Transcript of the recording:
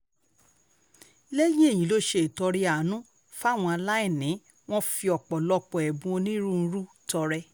lẹ́yìn èyí ló ṣe ìtọrẹ àánú fáwọn aláìní wọn fi ọ̀pọ̀lọpọ̀ ẹ̀bùn onírúurú tọrẹ